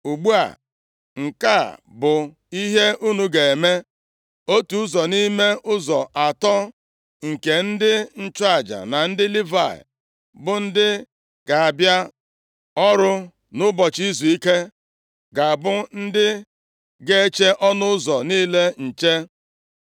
Ugbu a, nke a bụ ihe unu ga-eme: Otu ụzọ nʼime ụzọ atọ nke ndị nchụaja na ndị Livayị, bụ ndị ga-abịa ọrụ nʼụbọchị izuike ga-abụ ndị ga-eche ọnụ ụzọ niile nche.